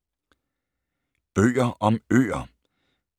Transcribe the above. Bøger om øer